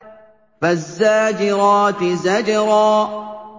فَالزَّاجِرَاتِ زَجْرًا